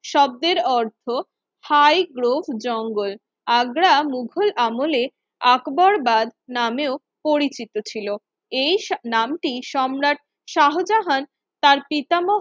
শব্দের অর্থ থাই গ্রোব জঙ্গল আগ্রা মুঘল আমলে আকবর বাদ নামেও পরিচিত ছিল এই নামটি সম্রাট শাহজাহান তার পিতাম